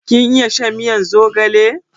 Ka iya shan miyan zogale?